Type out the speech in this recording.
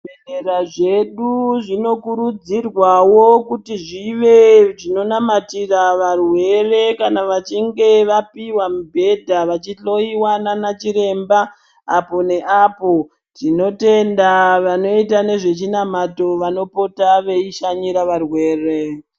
Bhedhlera zvedu zvinokurudzirwawo kuti zvive zvinonamatira varwere kana vachinge vapihwa mubhedha vachihloiwa ndiana chiremba apo neapo tinotenda vanoita nezvezvinamato vanopota veishanyira varwere.